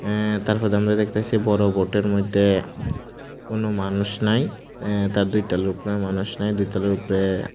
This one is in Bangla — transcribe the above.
অ্যা তারপর আমরা দেখতাসি বড় বোটের মোইধ্যে কোন মানুষ নাই অ্যা তার দুইটা লোক নয় মানুষ নাই দুই তলার উপরে--